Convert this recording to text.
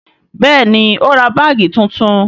Bẹẹni, ó ra báàgì tuntun